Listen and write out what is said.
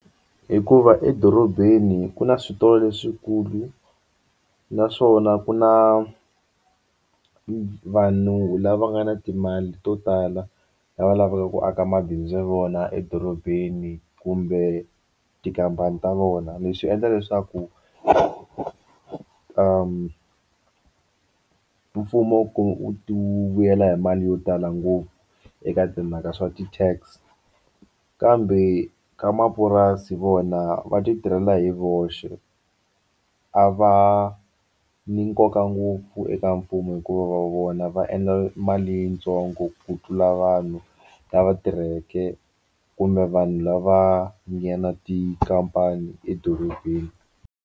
Hikuva edorobeni ku na switolo leswikulu naswona ku na vanhu lava nga na timali to tala lava lavaka ku aka mabindzu ya vona edorobeni kumbe tikhampani ta vona leswi endla leswaku mfumo wu vuyela hi mali yo tala ngopfu eka timhaka ta swa ti-tax kambe ka mapurasi vona va ti tirhela hi voxe a va ni nkoka ngopfu eka mfumo hikuva va vona va endla mali yitsongo ku tlula vanhu lava tirheke kumbe vanhu lava nga na tikhampani edorobeni.